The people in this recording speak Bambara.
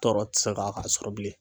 Tɔɔrɔ tɛ se ka a sɔrɔ bilen.